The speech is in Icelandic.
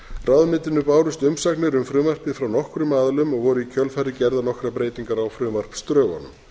ráðuneytinu bárust umsagnir um frumvarpið frá nokkrum aðilum og voru í kjölfarið gerðar nokkrar breytingar á frumvarpsdrögunum